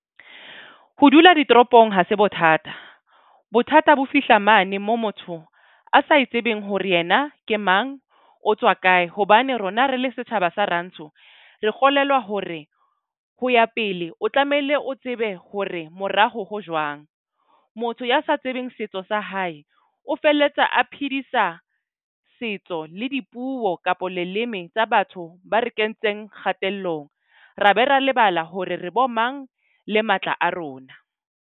Ho dula ditoropong ha se bothata. Bothata bo fihla mane mo motho a sa e tsebeng hore yena ke mang, O tswa kae. Hobane rona re le setjhaba sa rantsho, re kgolelwa hore ho ya pele o tlamehile o tsebe hore moraho ho jwang. Motho ya sa tsebeng setso sa hae o felletsa a phedisa setso le dipuo kapa leleme tsa batho. Ba re kentseng kgatellong, ra be ra lebala hore re bo mang le matla a rona.